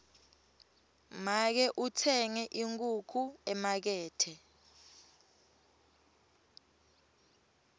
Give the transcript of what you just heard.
make utsenge inkhukhu emakethe